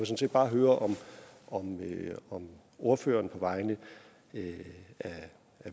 set bare høre om ordføreren på vegne af